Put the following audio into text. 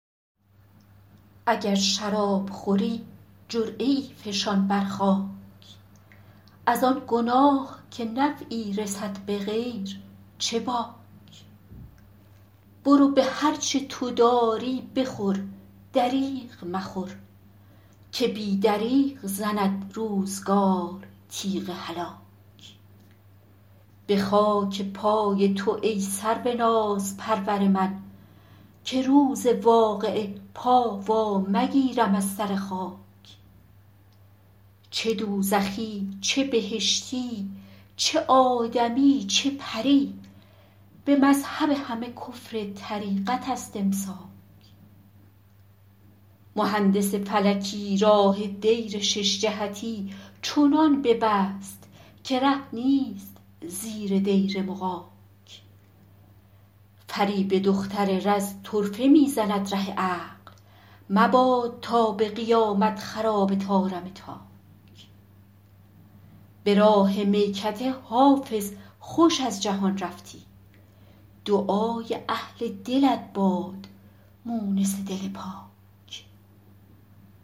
اگر شراب خوری جرعه ای فشان بر خاک از آن گناه که نفعی رسد به غیر چه باک برو به هر چه تو داری بخور دریغ مخور که بی دریغ زند روزگار تیغ هلاک به خاک پای تو ای سرو نازپرور من که روز واقعه پا وا مگیرم از سر خاک چه دوزخی چه بهشتی چه آدمی چه پری به مذهب همه کفر طریقت است امساک مهندس فلکی راه دیر شش جهتی چنان ببست که ره نیست زیر دیر مغاک فریب دختر رز طرفه می زند ره عقل مباد تا به قیامت خراب طارم تاک به راه میکده حافظ خوش از جهان رفتی دعای اهل دلت باد مونس دل پاک